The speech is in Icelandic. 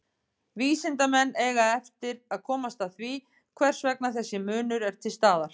Vísindamenn eiga eftir að komast að því hvers vegna þessi munur er til staðar.